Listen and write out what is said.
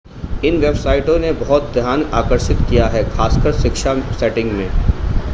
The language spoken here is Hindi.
इन वेबसाइटों ने बहुत ध्यान आकर्षित किया है खासकर शिक्षा सेटिंग में